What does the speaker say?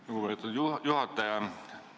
Lugupeetud juhataja!